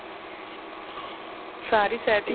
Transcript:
ਸਾਰੀ setting